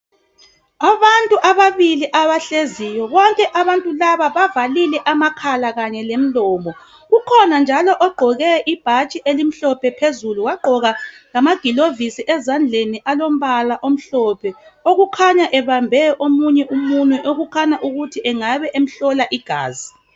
abantu ababili abahleziyo bonke abantu laba bavalile amakhala lemilomo ukhona njalo ogqoke ibhatshi elimhlophe phezulu wagqokanjalo amagulovisi alempala emhlophe okukhanya ebambe omunye umunywe okukhanya ukuhi engabe emhlola igazi